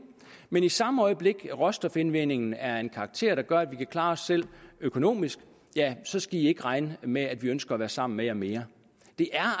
men i samme øjeblik at råstofindvindingen er af en karakter der gør at vi kan klare os selv økonomisk så skal i ikke regne med at vi ønsker at være sammen med jer mere det er